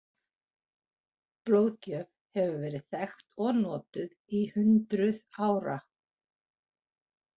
Blóðgjöf hefur verið þekkt og notuð í hundruð ára.